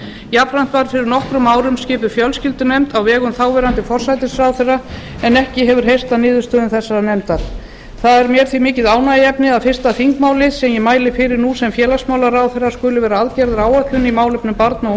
jafnframt var fyrir nokkrum árum skipuð fjölskyldunefnd á vegum þáv forsætisráðherra en ekki hefur heyrst af niðurstöðum þessarar nefndar það er mér því mikið ánægjuefni að fyrsta þingmálið sem ég mæli fyrir nú sem félagsmálaráðherra skuli verða aðgerðaáætlun í málefnum barna og